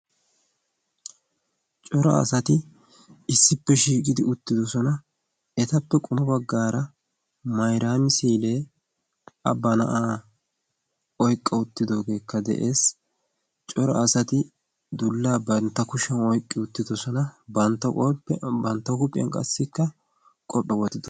coro asati issippe shiiqidi uttidosona. etappe quma baggaara mairaami-siilee a ba na7aa oiqqa uttidoogeekka de7ees. coro asati dullaa bantta kushiyan oiqqi uttidosona bantta qophiya bantta huuphiyan qassikka qophphya wottidosona.